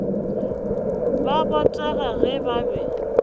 ba botega ge ba be